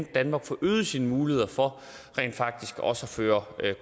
danmark får øget sine muligheder for rent faktisk også at føre